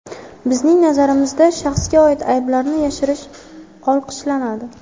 Bizning nazarimizda shaxsga oid ayblarni yashirish olqishlanadi.